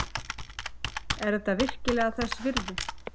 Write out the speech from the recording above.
Er þetta virkilega þess virði?